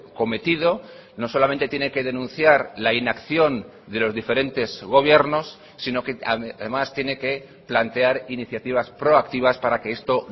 cometido no solamente tiene que denunciar la inacción de los diferentes gobiernos sino que además tiene que plantear iniciativas proactivas para que esto